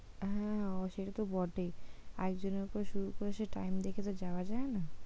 হ্যাঁ সেটা তো বটেই একজনের ওপর শুরু করেছে সে time দেখে তো যাওয়া যায়না।